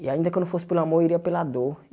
E ainda que eu não fosse pelo amor, eu iria pela dor.